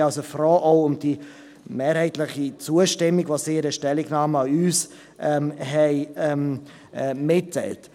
Ich bin also froh auch über die mehrheitliche Zustimmung, die sie in einer Stellungnahme an uns mitgeteilt haben.